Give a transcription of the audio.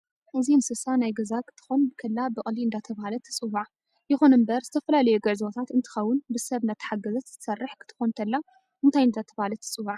እዚንንስሳ ናይ ገዛ ክትኮን ከላ ብቅሊ እደተበሃለት ትፅዋ የኩን እንበር ዝተፈላላዩ ግዕዞታት እንትከውን ብሰብ እደታሐገዘት ትሰርሕ ክትኮን ተላ እንታይ እዳተባሀለት ትፅዋዕ?